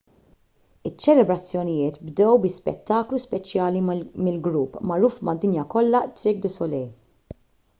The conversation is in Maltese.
iċ-ċelebrazzjonijiet bdew bi spettaklu speċjali mill-grupp magħruf mad-dinja kollha cirque du soleil